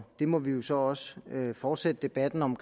det må vi jo så også fortsætte debatten om